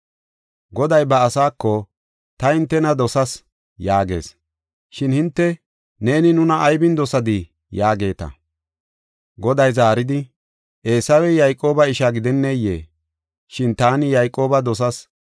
Goday ba asaako, “Ta hintena dosas” yaagees. Shin hinte, “Ne nuna aybin dosadii?” yaageeta. Goday zaaridi, “Eesawey Yayqooba isha gidenneyee? Shin taani Yayqooba dosas;